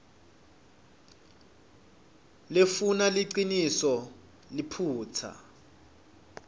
lefuna liciniso liphutsa